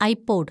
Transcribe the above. I pod